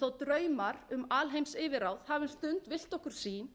þó draumar um alheimsyfirráð hafi um stund villt okkur sýn